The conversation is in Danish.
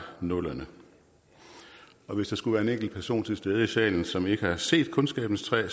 nullerne hvis der skulle være en enkelt person til stede i salen som ikke har set kundskabens træ